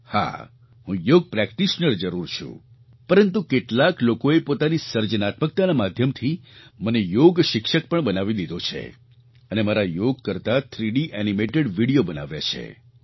હા હું યોગ પ્રૅક્ટિશનર જરૂર છું પરંતુ કેટલાક લોકોએ પોતાની સર્જનાત્મકતાના માધ્યમથી મને યોગ શિક્ષક પણ બનાવી દીધો છે અને મારા યોગ કરતા થ્રીડી એનિમેટેડ વિડિયો બનાવ્યા છે